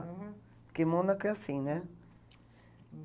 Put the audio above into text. Uhum. Porque Mônaco é assim, né? Hm.